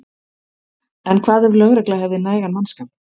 En hvað ef lögregla hefði nægan mannskap?